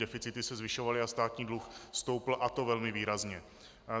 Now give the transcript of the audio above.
Deficity se zvyšovaly a státní dluh stoupl, a to velmi výrazně.